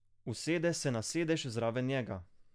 Usede se na sedež zraven njega.